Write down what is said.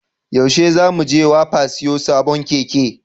Yaushe za mu je wapa siyo sabon Keke?